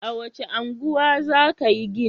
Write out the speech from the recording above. A wace unguwa za ka yi gini?